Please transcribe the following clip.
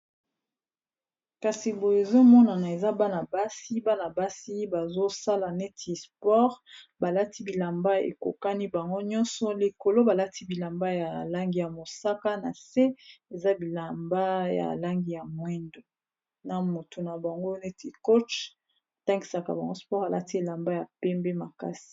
kasi boye ezomonana eza bana-basi bana basi bazosala neti sport balati bilamba ekokani bango nyonso likolo balati bilamba ya alangi ya mosaka na se eza bilamba ya alangi ya moindo na motu na bango neti coach tangisaka bango sport alati elamba ya pembe makasi